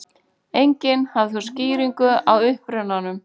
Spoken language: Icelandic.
Enginn hafði þó skýringu á upprunanum.